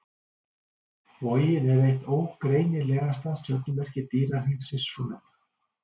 Vogin er eitt ógreinilegasta stjörnumerki dýrahringsins svonefnda.